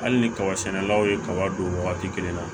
Hali ni kaba sɛnɛlaw ye kaba don wagati la